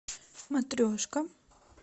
матрешка